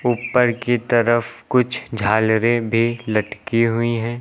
ऊपर की तरफ कुछ झालरें भी लटकी हुई हैं।